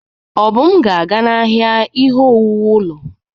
Obum ga-aga n'ahịa ihe owuwu ụlọ.